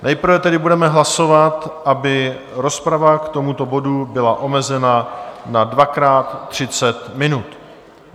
Nejprve tedy budeme hlasovat, aby rozprava k tomuto bodu byla omezena na dvakrát třicet minut.